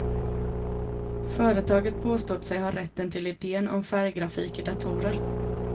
Företaget påstod sig ha rätten till iden om färggrafik i datorer.